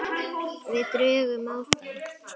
Við drögum á þá.